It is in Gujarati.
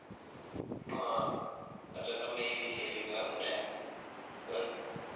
અ એટલે તમે ઈ વિષય લીધો એમ ને સરસ